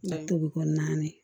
tobi ko naani